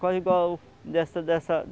Quase igual dessa dessa